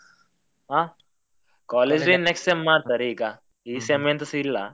ಹಾ college day ಮಾಡ್ತಾರೆ ಈಗ ಈ sem ಎಂತಸ ಇಲ್ಲ.